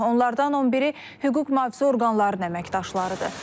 Onlardan 11-i hüquq-mühafizə orqanlarının əməkdaşlarıdır.